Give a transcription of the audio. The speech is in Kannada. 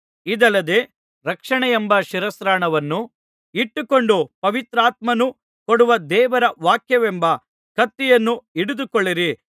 ಇದಲ್ಲದೆ ರಕ್ಷಣೆಯೆಂಬ ಶಿರಸ್ತ್ರಾಣವನ್ನು ಇಟ್ಟುಕೊಂಡು ಪವಿತ್ರಾತ್ಮನು ಕೊಡುವ ದೇವರ ವಾಕ್ಯವೆಂಬ ಕತ್ತಿಯನ್ನು ಹಿಡಿದುಕೊಳ್ಳಿರಿ